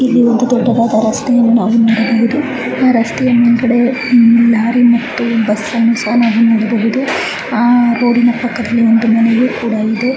ಇಲ್ಲಿ ಒಂದು ದೊಡ್ಡದಾದ ರಸ್ತೆಯನ್ನು ನಾವು ನೋಡಬಹುದು. ಆ ರಾಸ್ತಯ ಮೇಲ್ಗಡೆ ಲೋರಿ ಮತ್ತು ಬಸ್ ಅನ್ನ ನೋಡಬಹುದು. ಅಹ್ ರೋಡ್ ಇನ ಪಕ್ಕದಲ್ಲಿ ಒಂದು ಮನೆ ಕೂಡ ಇದೆ.